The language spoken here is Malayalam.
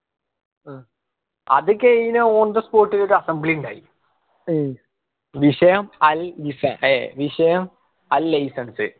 അത് കഴിഞ്ഞ on the spot ൽ ഒരു assembly ഉണ്ടായി വിഷയം അൽ ഏർ വിഷയം അൽ license